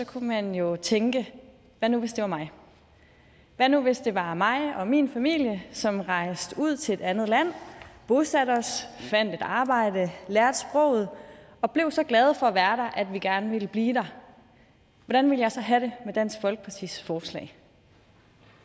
kunne man jo tænke hvad nu hvis det var mig hvad nu hvis det var mig og min familie som rejste ud til et andet land bosatte os fandt et arbejde lærte sproget og blev så glade for at være der at vi gerne ville blive der hvordan ville jeg så have det med dansk folkepartis forslag